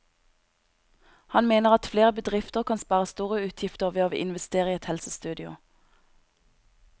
Han mener at flere bedrifter kan spare store utgifter ved å investere i et helsestudio.